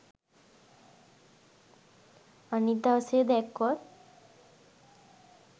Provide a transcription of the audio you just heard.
අනිත් දවසේ දැක්කොත්